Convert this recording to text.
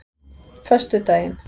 föstudaginn